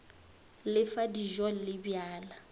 le fa dijo le bjala